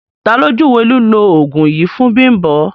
Tà lo júwé lílọ̀ oogun yìí fún Bimbo?